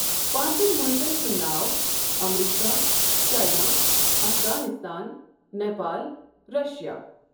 پانٛژن مُلکن ہُنٛد ناو America, China, Afghanistan, Nepal, Russia.